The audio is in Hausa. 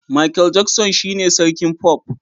Michael Jackson shine sarkin pop